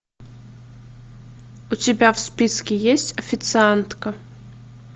у тебя в списке есть официантка